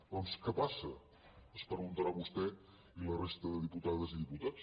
doncs què passa es preguntaran vostè i la resta de diputades i de diputats